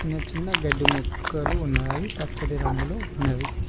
చిన్న చిన్న గడ్డి మొక్కలు ఉన్నావి పచ్చటి రంగులో ఉన్నవి.